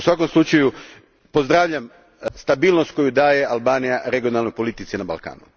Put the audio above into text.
U svakom slučaju pozdravljam stabilnost koju daje Albanija regionalnoj politici na Balkanu.